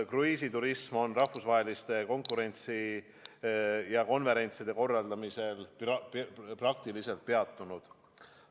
Kruiisiturism on rahvusvaheliste konverentside korraldamisel praktiliselt peatunud.